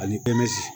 Ani